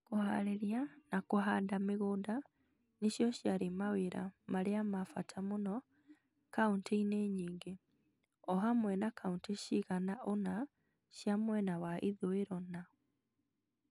Kũhaarĩria na kũhanda mĩgũnda nĩcio ciarĩ mawĩra marĩa ma bata mũno kauntĩ-inĩ nyingĩ .O hamwe na kauntĩ cigana ũna cia mwena wa ithũĩro na